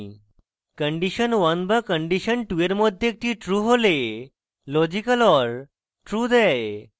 condition1 বা condition2 or মধ্যে একটি true হলে লজিক্যাল or true দেয়